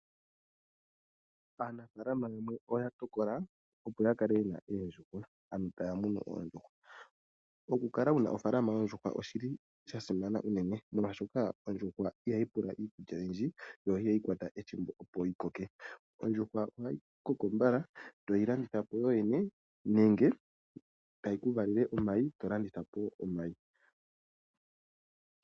Aanafaalama yamwe oya tokola opo ya kale yena oondjuhwa, taya munu oondjuhwa. Okukala wuna ofaalama yoondjuhwa oshili sha simana unene, molwaashoka ondjuhwa ihayi pula iikulya oyindji, yo ihayi kwata ethimbo opo yi koke. Ondjuhwa koko mbala, toyi landitha yoyene nenge tayi vala omayi, ngoye tolanditha omayi.